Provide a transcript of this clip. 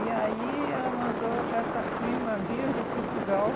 E aí ela mandou essa prima vir de Portugal.